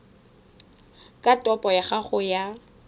a topo ya gago ya